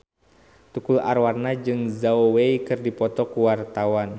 Tukul Arwana jeung Zhao Wei keur dipoto ku wartawan